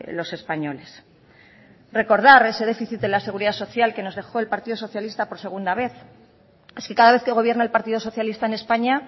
los españoles recordar ese déficit de la seguridad social que nos dejó el partido socialista por segunda vez es que cada vez que gobierna el partido socialista en españa